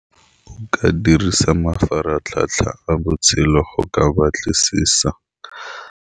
Ke dirisa mafaratlhatlha a botshelo go ka batlisisa.